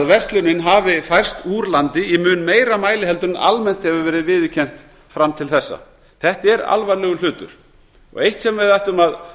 verslunin hafi færst úr landi í mun meira mæli en almennt hefur verið viðurkennt fram til þessa þetta er alvarlegur hlutur það er eitt sem við ættum að